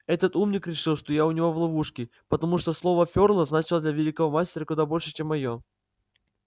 этот умник решил что я у него в ловушке потому что слово фёрла значило для великого мастера куда больше чем моё